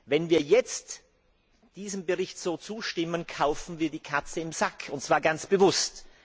Wenn wir jetzt diesem Bericht so zustimmen, kaufen wir die Katze im Sack, und zwar ganz bewusst.